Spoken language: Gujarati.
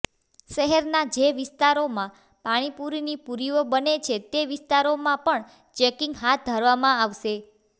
શહેરના જે વિસ્તારોમાં પાણીપૂરીની પૂરીઓ બને છે તે વિસ્તારોમાં પણ ચેકિંગ હાથ ધરવામાં આવશે